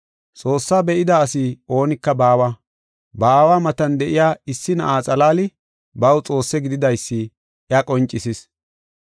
Xoossaa be7ida asi oonika baawa; ba Aawa matan de7iya issi Na7aa xalaali baw Xoosse gididaysi iya qoncisis.